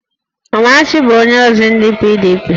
Amarachi bụ onyeozi ndị PDP